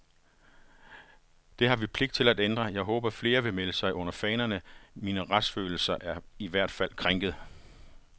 Det har vi pligt til at ændre, jeg håber flere vil melde sig under fanerne, min retsfølelse er i hvert fald krænket.